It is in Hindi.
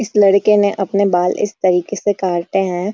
इस लड़के ने अपने बाल इस तरीक़े से काटे हैं।